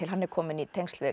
hann er kominn í tengsl við